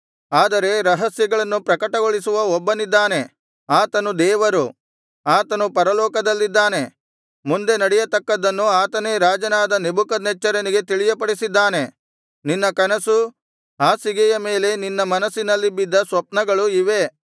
ಆದರೆ ರಹಸ್ಯಗಳನ್ನು ಪ್ರಕಟಗೊಳಿಸುವ ಒಬ್ಬನಿದ್ದಾನೆ ಆತನು ದೇವರು ಆತನು ಪರಲೋಕದಲ್ಲಿದ್ದಾನೆ ಮುಂದೆ ನಡೆಯತಕ್ಕದ್ದನ್ನು ಆತನೇ ರಾಜನಾದ ನೆಬೂಕದ್ನೆಚ್ಚರನಿಗೆ ತಿಳಿಯಪಡಿಸಿದ್ದಾನೆ ನಿನ್ನ ಕನಸು ಹಾಸಿಗೆಯ ಮೇಲೆ ನಿನ್ನ ಮನಸ್ಸಿನಲ್ಲಿ ಬಿದ್ದ ಸ್ವಪ್ನಗಳು ಇವೇ